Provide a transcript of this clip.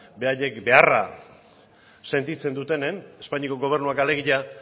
beraiek beharra sentitzen dutenean espainiako gobernuak alegia